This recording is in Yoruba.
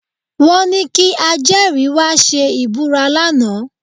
Wọ́n ní kí ajẹ́rìí wá ṣe ìbúra lánàá